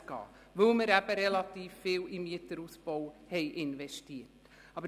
Der Grund ist, dass wir relativ viel in den Mieterausbau investiert haben.